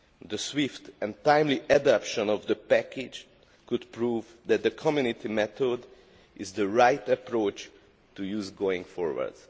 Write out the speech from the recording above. The swift and timely adoption of the package could prove that the Community method is the right approach to use in going forward.